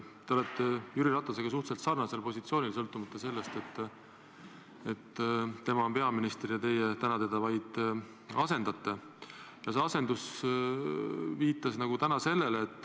Te olete Jüri Ratasega suhteliselt sarnasel positsioonil, kuigi tema on peaminister ja teie täna teda vaid asendate.